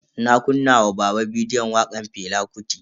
Na kunna wa baba bidiyon wakan Fela Kuti.